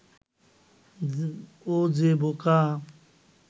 ও যে বোকা